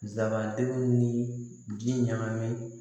Zabantigi ni ji ɲagami